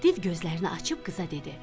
Div gözlərini açıb qıza dedi: